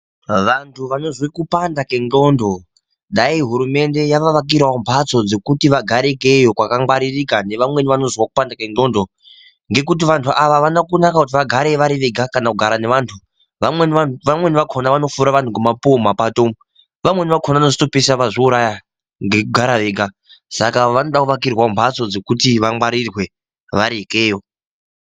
Vantu vanozwe kupanda ke ndxondo dai hurumende yava wakirawo mhatso dzekuti vagare ikeyo kwaka ngwaririka ne vamweni vanozwa kupanda kwe ndxondo ngekuti vantu ava avana kunaka kuti vagare vari vega kana kugara ne vantu vamweni vakona vano fura vantu nge mapuwe mu mapato umu vamweni vakona vanozoto pesira vazvi uraya ngeku gara vega saka vanoda ku wakirwawo mbatso dzekuti va ngwarirwe vari ikeyo.